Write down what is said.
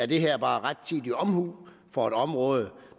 det her bare om rettidig omhu på et område